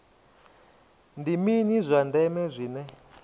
ndi mini zwa ndeme zwine